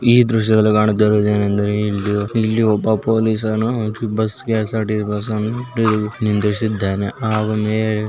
ಈ ದೃಶ್ಯದಲ್ಲಿ ಕಾಣುತ್ತಿರುವುದು ಏನೆಂದರೆ ಇಲ್ಲಿ ಇಲ್ಲಿ ಒಬ್ಬ ಪೊಲೀಸ ನು ಬಸ್ ಕೆ.ಎಸ್.ಆರ್.ಟಿ ಬಸ್ ಅನ್ನು ನಿಲ್ಲಿಸಿದ್ದಾನೆ ಆ --